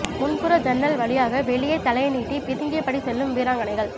முன்புற ஜன்னல் வழியாக வெளியே தலையை நீட்டி பிதுங்கிய படி செல்லும் வீராங்கனைகள்